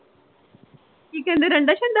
ਕੀ ਕਹਿੰਦੇ ਰੰਡਾ ਸ਼ਡਾ